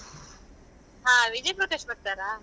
ಹಾ ವಿಜಯ್ ಪ್ರಕಾಶ್ ಬರ್ತಾರಾ?